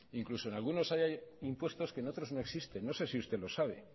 incluso en algunos hay impuestos que en otros no existen no sé si usted lo sabe